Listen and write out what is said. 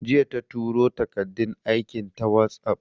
Jiya ta turo takardun aikin ta WhatsApp